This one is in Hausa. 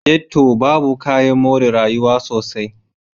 Ghetto babu kayan more rayuwa sosai.